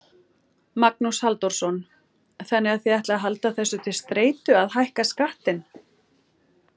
Magnús Halldórsson: Þannig að þið ætlið að halda þessu til streitu að hækka skattinn?